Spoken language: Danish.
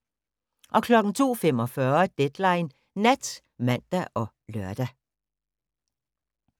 02:45: Deadline Nat (man og lør)